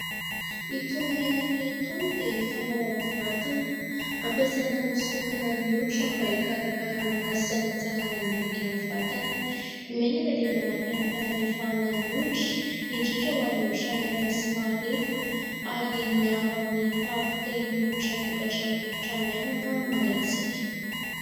Itony menaka itony dia fanao amin'ny vatana. Ampiasaina hanosorana ny hoditra mba hikarakarana azy sy hanatsarana ny bika amin'ny vatana. Ny menaka dia manampy aminy fanalefahana ny hoditra, indrindra ho any hoditra maina sy marefo ary miaro amin'ny fahampotehin'ny hoditra vokatry ny rivotra maina na mangatsiaka.